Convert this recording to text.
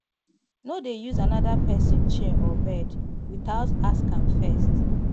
no dey use another person chair or bed without ask am first